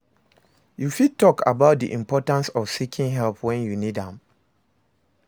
you fit talk about di importance of seeking help when you need am?